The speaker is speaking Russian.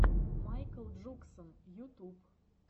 майкл джуксон ютуб